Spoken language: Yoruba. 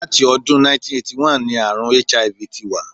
Láti ọdún 1981 ní àrùn HIV ti wà.